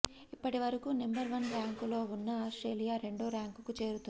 ఇప్పటివరకు number one ర్యాంకులో ఉన్న ఆస్ట్రేలియా రెండో ర్యాంకుకు చేరుకుంది